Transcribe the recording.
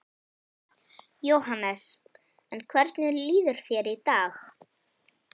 Jóhannes: En hvernig líður þér í dag?